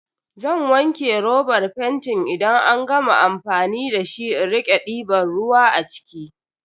Zan wanke robar fentin idan an gama amfani da shi in rike diban ruwa a ciki.